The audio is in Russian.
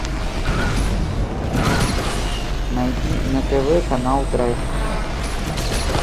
найди на тв канал драйв